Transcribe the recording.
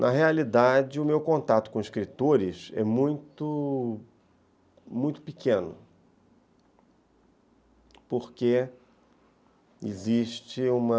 Na realidade, o meu contato com escritores é muito muito pequeno, porque existe uma...